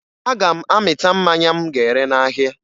Aga m amịta mmanya m ga-ere n'ahịa